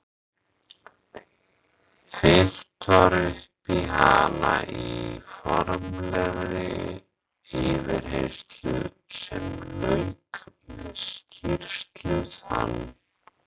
Fyllt var upp í hana í formlegri yfirheyrslu sem lauk með skýrslu þann